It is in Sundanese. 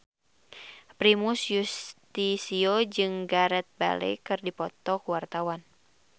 Primus Yustisio jeung Gareth Bale keur dipoto ku wartawan